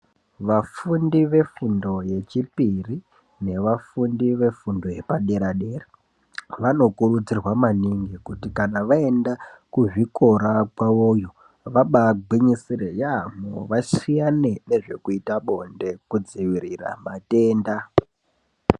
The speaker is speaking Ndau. Vafundi vefundo yechipiri, nevafundi vefundo yepadera-dera vanokurudzirwa maningi kuti vaenda kuzvikora kwavoyo, vabaagwinyisire yaamho. Vasiyane nezvekuita bonde, kudzivirira matenda.